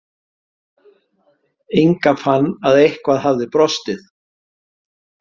Inga fann að eitthvað hafði brostið.